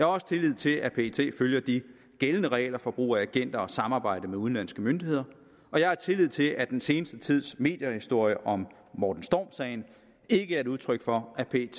også tillid til at pet følger de gældende regler for brug af agenter og samarbejde med udenlandske myndigheder og jeg har tillid til at den seneste tids mediehistorier om morten storm sagen ikke er et udtryk for at pet